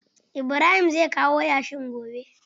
Ibrahim zai kawo yashin gobe.